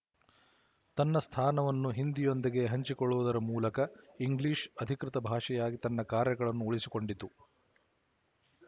ತನ್ನ ಸ್ಥಾನವನ್ನು ಹಿಂದಿಯೊಂದಿಗೆ ಹಂಚಿಕೊಳ್ಳುವುದರ ಮೂಲಕ ಇಂಗ್ಲಿಶ ಅಧಿಕೃತ ಭಾಷೆಯಾಗಿ ತನ್ನ ಕಾರ್ಯಗಳನ್ನು ಉಳಿಸಿಕೊಂಡಿತು